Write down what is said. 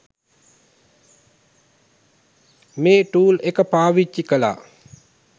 මේ ටූල් එක පාවිච්චි කළා